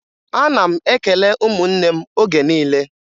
Ana m ekele ụmụnne m oge niile